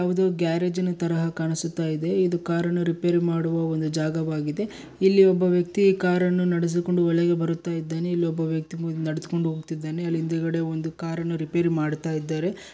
ಯಾವುದೊ ಗ್ಯಾರೇಜಿನ ತರಹ ಕಾಣಿಸುತ್ತಾಯ್ದೆ ಇದು ಕಾರ ಣ ರಿಪೇರಿ ಮಾಡುವ ಒಂದು ಜಾಗವಾಗಿದೆ. ಇಲ್ಲಿ ಒಬ್ಬ ವ್ಯಕ್ತಿ ಕಾರನ್ನು ನಡೆಸಿಕೊಂಡು ಒಳಗೆ ಬರುತ್ತಾ ಇದ್ದಾನೆ ಇಲ್ಲೊಬ್ಬ ವ್ಯಕ್ತಿ ನಡೆದುಕೊಂಡು ಹೋಗ್ತಿದ್ದಾನೆ ಅಲ್ ಹಿಂದೆಗಡೆ ಒಂದು ಕಾರ್ ಅನ್ನು ರಿಪೇರಿ ಮಾಡ್ತಾ ಇದ್ದಾರೆ.